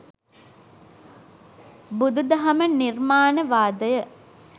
බුදු දහම නිර්මාණවාදය